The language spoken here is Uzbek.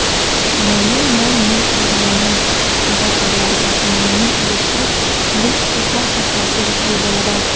umumiy mol-mulk joylarning mulkdorlariga umumiy ulushli mulk huquqi asosida tegishli bo‘ladi.